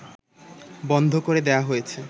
বন্ধ করে দেয়া হয়েছে